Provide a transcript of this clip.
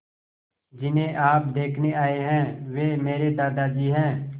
जिन्हें आप देखने आए हैं वे मेरे दादाजी हैं